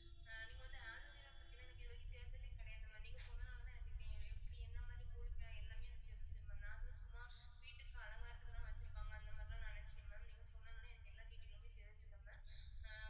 நீங்க வந்து aloe vera பத்திலாம் எனக்கு இதுவரைக்கும் தெரிஞ்சதே கிடையாது mam நீங்க சொன்னதுனாலதான் எனக்கு எப்படி எப்படி என்ன மாதிரி மூலிகை எல்லாமே எனக்கு தெரிஞ்சுது mam நான் எதுவும் சும்மா வீட்டுக்கு அலங்காரத்துக்குதான் வச்சிருப்பாங்க அந்த மாதிரிலாம் நினைச்சேன் mam நீங்க சொன்னதுனால எனக்கு எல்லா detail லுமே தெரிஞ்சுது mam அஹ்